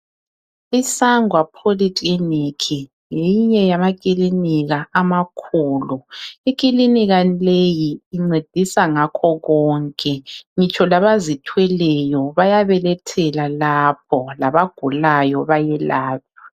Isangwa poly clinic ngeyinye yamakilinika amakhulu ikilinika leyi incedisa ngakho konke ngitsho labazithweleyo bayabelethela lapho labagulayo bayelwatshwa